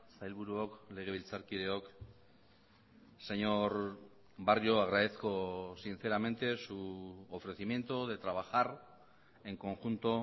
sailburuok legebiltzarkideok señor barrio agradezco sinceramente su ofrecimiento de trabajar en conjunto